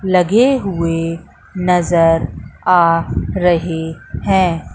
लगे हुए नजर आ रहे हैं।